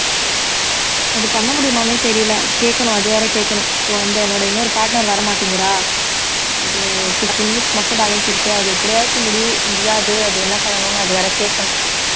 அது பண்ண முடியுமான்னே தெரியல கேட்கணும் அது வேற கேட்கணும் இப்ப வந்து என்னோட இன்னொரு partner வர மாட்டேங்கிறா அது fifteen minutes மட்டும் balance இருக்கு அது எப்படியாச்சும் முடி~ முடியாது அது என்ன பண்ணனும் அது வேற கேக்கணும்